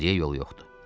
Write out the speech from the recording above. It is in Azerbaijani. Geriyə yol yoxdur.